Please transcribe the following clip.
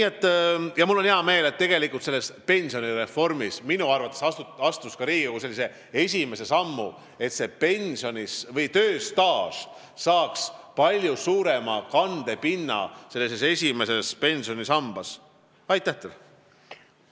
Ja mul on hea meel selle üle, et minu arvates on Riigikogu astunud esimese sammu ka pensionireformi huvides, et tööstaaž saaks esimeses pensionisambas palju suurema kandepinna.